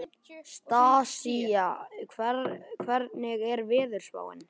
Stasía, hvernig er veðurspáin?